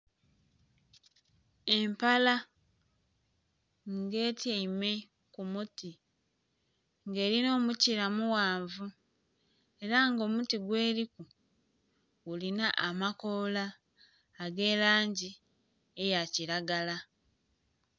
Empala nga etyaime ku muti nga elina omukila mughanvu era nga omuti gweriku gulina amakoola aga langi ya kilagala.